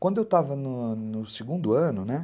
Quando eu estava no segundo ano, né?